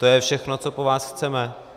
To je všechno, co po vás chceme.